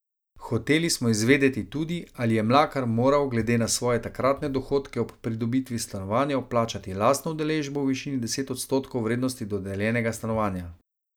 Hoteli smo izvedeti tudi, ali je Mlakar moral glede na svoje takratne dohodke ob pridobitvi stanovanja vplačati lastno udeležbo v višini deset odstotkov vrednosti dodeljenega stanovanja.